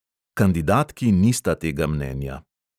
Kandidatki nista tega mnenja.